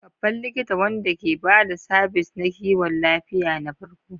Babban likita wanda ke ba da sabis na kiwon lafiya na farko.